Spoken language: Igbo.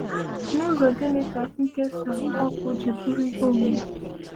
“N’ụzọ gịnị ka nkesa ọkụ ji bụrụ ihe omimi?”